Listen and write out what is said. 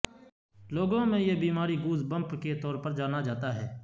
لوگوں میں یہ بیماری گوزبمپ کے طور پر جانا جاتا ہے